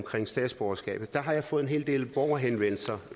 statsborgerskabet har jeg fået en hel del borgerhenvendelser